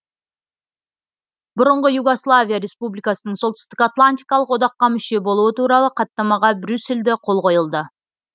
бұрынғы югославия республикасының солтүстік атлантикалық одаққа мүше болуы туралы хаттамаға брюссельде қол қойылды